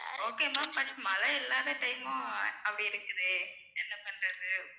okay ma'am but மழை இல்லாத time மும் அப்படி இருக்குதே என்ன பண்றது